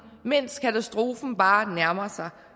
mens katastrofen bare nærmer sig